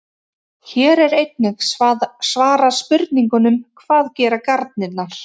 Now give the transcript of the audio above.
Hér er einnig svarað spurningunum: Hvað gera garnirnar?